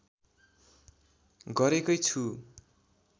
गरेकै छु